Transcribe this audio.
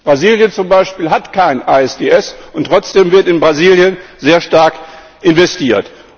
Brasilien zum Beispiel hat kein ISDS, und trotzdem wird in Brasilien sehr stark investiert.